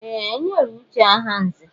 Ee! E nyere Uche aha nzè.